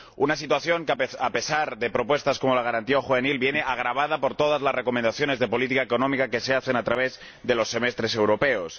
Una situación que, a pesar de propuestas como la Garantía juvenil, viene agravada por todas las recomendaciones de política económica que se hacen a través de los semestres europeos.